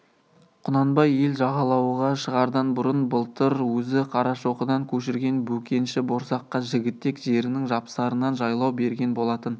құнанбай ел жайлауға шығардан бұрын былтыр өзі қарашоқыдан көшірген бөкенші борсаққа жігітек жерінің жапсарынан жайлау берген болатын